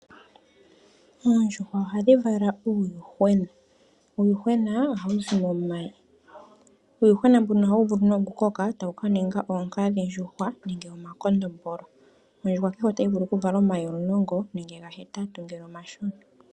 Oondjuhwa ohadhi vala omayi e tamu zi uuyuhwena. Uuyuhwena ohawu koko e tawu ningi oonkadhi ndjuhwa nenge omakondombolo. Ondjuhwa kehe otayi vulu okuvala omayi omulongo nenge gahetatu ngele omashona.